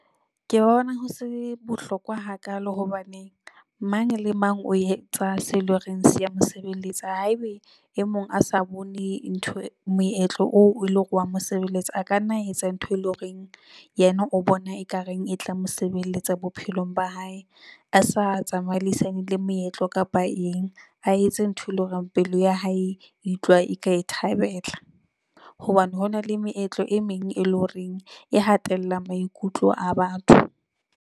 Ke bona ho se bohlokwa ha kaalo hobaneng mang le mang o etsa seo eleng hore se ya mosebeletsa. Haebe e mong a sa bone ntho moetlo oo e le hore wa mo mosebeletsa a ka nna etsa ntho e leng horeng yena o bona ekareng e tla mo sebeletsa bophelong ba hae a sa tsamaisaneng le moetlo kapa eng. A etse ntho, e leng hore pelo ya hae e utlwa e ka e thabela hobane hona le meetlo e meng, e leng horeng e hatella maikutlo a batho.